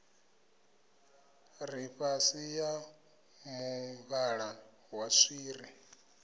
ḽifhasi ya muvhala wa swiri